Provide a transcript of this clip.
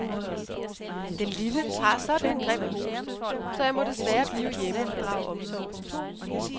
Den lille har sådan en grim hoste, så jeg må desværre blive hjemme og drage omsorg.